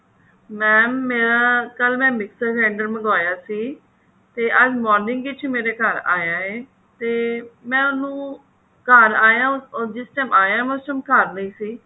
mam ਕੱਲ ਮੈਂ mixer grinder ਮੰਗਵਾਇਆ ਸੀ ਤੇ ਅੱਜ morning ਵਿੱਚ ਮੇਰੇ ਘਰ ਆਇਆ ਹੈ ਤੇ ਮੈਂ ਉਹਨੂੰ ਘਰ ਆਇਆ ਉਹ ਜਿਸ time ਆਇਆ ਮੈਂ ਉਸ time ਘਰ ਨਹੀ ਸੀ